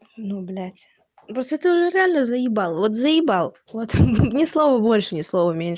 ну блядь ну просто ты уже реально заебал вот заебал вот ни слова больше ни слова меньше